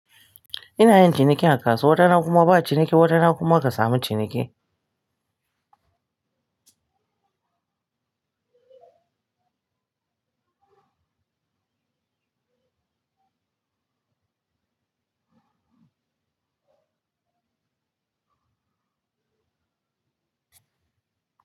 Ina yin ciniki a kasuwa, wata rana kuma ba ciniki, wata rana kuma kasamu ciniki.